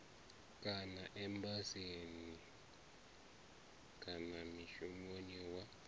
kana embasini kana mishinini wa